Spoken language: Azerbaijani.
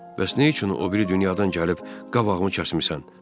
Bəs nə üçün o biri dünyadan gəlib qabağımı kəsmisən?